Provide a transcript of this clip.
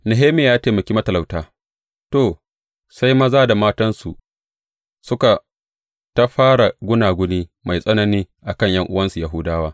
Nehemiya ya taimaki matalauta To, sai maza da matansu suka tā da fara gunaguni mai tsanani a kan ’yan’uwansu Yahudawa.